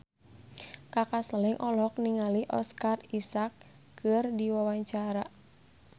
Kaka Slank olohok ningali Oscar Isaac keur diwawancara